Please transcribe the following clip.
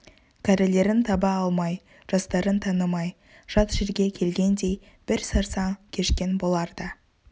кәрілерін таба алмай жастарын танымай жат жерге келгендей бір сарсаң кешкен болар да